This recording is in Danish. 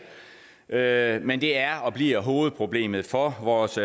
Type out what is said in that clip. der men det er og bliver hovedproblemet for vores